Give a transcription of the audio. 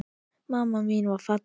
Mamma mín var falleg.